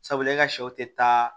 Sabula e ka sɛw tɛ taa